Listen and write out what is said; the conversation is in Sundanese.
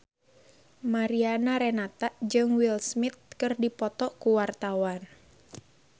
Mariana Renata jeung Will Smith keur dipoto ku wartawan